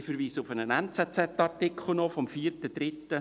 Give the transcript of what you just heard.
Ich verweise noch auf einen «NZZ»-Artikel vom 4.3.2016.